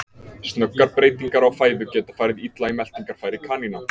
Snöggar breytingar á fæðu geta farið illa í meltingarfæri kanína.